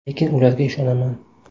Lekin ularga ishonaman.